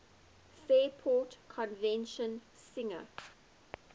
fairport convention singer